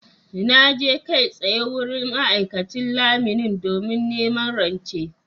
Na je kai tsaye wurin ma’aikacin lamuni domin neman rance.